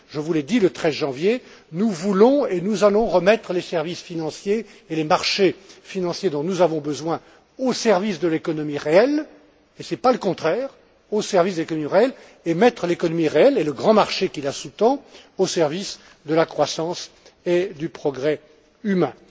Je vous l'ai dit, le 13 janvier, nous voulons et nous allons remettre les services financiers et les marchés financiers dont nous avons besoin au service de l'économie réelle, et ce n'est pas le contraire, et mettre l'économie réelle et le grand marché qui la sous tend au service de la croissance et du progrès humain.